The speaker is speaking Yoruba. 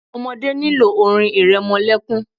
Ọmọdé nílò orin ìrẹmọlẹ́kún.